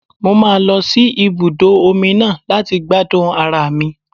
Mo máa lọ sí ibùdó omi náà láti gbádùn ara mi.